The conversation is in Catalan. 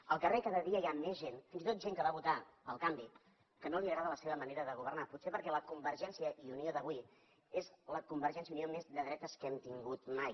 al carrer cada dia hi ha més gent fins i tot gent que va votar el canvi a qui no li agrada la seva manera de governar potser perquè la convergència i unió d’avui és la convergència i unió més de dretes que hem tingut mai